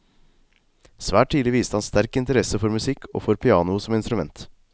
Svært tidlig viste han sterk interesse for musikk og for pianoet som instrument.